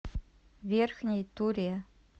верхней туре